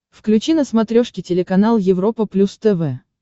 включи на смотрешке телеканал европа плюс тв